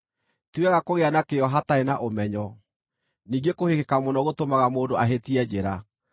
Ti wega kũgĩa na kĩyo hatarĩ na ũmenyo, ningĩ kũhĩkĩka mũno gũtũmaga mũndũ ahĩtie njĩra.